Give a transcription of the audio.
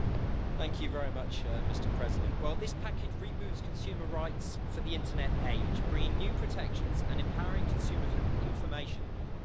Mr President, this package reboots consumer rights for the internet age, bringing new protections and empowering consumers with information whenever they buy.